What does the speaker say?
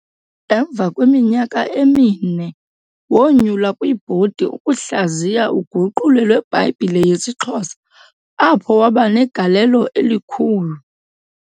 Emva kweminyaka emini, wonyulwa kwibhodi ukuhlaziya uguqulo lweBhayibhile yesiXhosa apho wabanegalelo elikhulu.